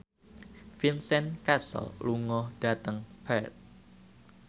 Vincent Cassel lunga dhateng Perth